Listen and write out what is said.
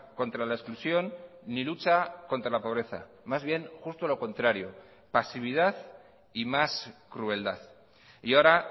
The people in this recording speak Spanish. contra la exclusión ni lucha contra la pobreza más bien justo lo contrario pasividad y más crueldad y ahora